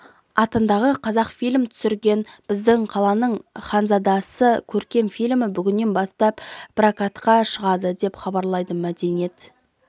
атындағы қазақфильм түсірген біздің қаланың ханзадасы көркем фильмі бүгіннен бастап прокатқа шығады деп хабарлады мәдениет